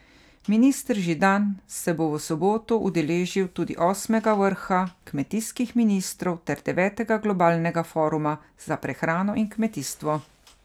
Minister Židan se bo v soboto udeležil tudi osmega vrha kmetijskih ministrov ter devetega globalnega foruma za prehrano in kmetijstvo.